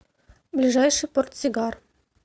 ближайший портсигар